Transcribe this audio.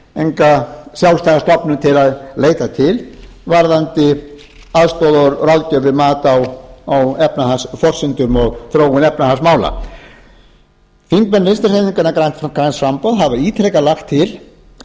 enga sjálfstæða stofnun til að leita til varðandi aðstoð og ráðgjöf við mat á efnahagsforsendum og þróun efnahagsmála þingmenn vinstri hreyfingarinnar græns framboðs hafa ítrekað lagt til á